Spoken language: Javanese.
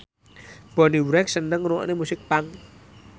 Bonnie Wright seneng ngrungokne musik punk